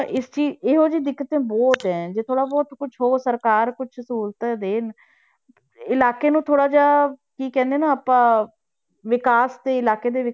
ਇਸ 'ਚ ਹੀ ਇਹੋ ਜਿਹੀ ਦਿੱਕਤਾਂ ਬਹੁਤ ਹੈ ਜੇ ਥੋੜ੍ਹਾ ਬਹੁਤ ਕੁਛ ਹੋ ਸਰਕਾਰ ਕੁਛ ਸਹੂਲਤਾਂ ਦੇਣ, ਇਲਾਕੇ ਨੂੰ ਥੋੜ੍ਹਾ ਜਿਹਾ ਕੀ ਕਹਿੰਦੇ ਨੇ ਆਪਾਂ ਵਿਕਾਸ ਦੇ ਇਲਾਕੇ ਦੇ